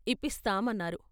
ఇప్పిస్తాం " అన్నారు.